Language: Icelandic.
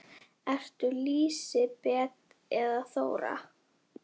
Ertu Lísibet eða Þóra?